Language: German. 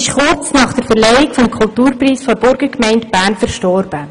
Kurz nach der Verleihung des Kulturpreises der Burgergemeinde Bern verstarb Frau Gosteli.